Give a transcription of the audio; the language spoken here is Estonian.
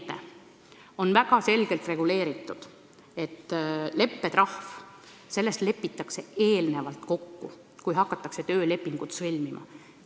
Leppetrahv on väga selgelt reguleeritud ja selles lepitakse kokku enne, kui hakatakse töölepingut sõlmima.